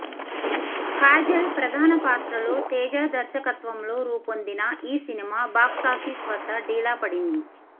కాజల్ ప్రధాన పాత్రలో తేజ దర్శకత్వంలో రూపొందిన ఈ సినిమా బాక్సాఫీస్ వద్ద డీలా పడింది